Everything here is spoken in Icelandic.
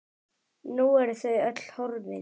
Nú eru þau öll horfin.